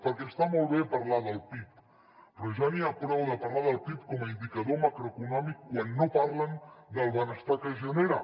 perquè està molt bé parlar del pib però ja n’hi ha prou de parlar del pib com a indicador macroeconòmic quan no parlen del benestar que es genera